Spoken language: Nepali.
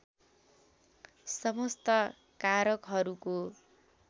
समस्त कारकहरूको